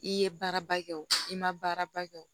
I ye baaraba kɛ o i ma baara ba kɛ o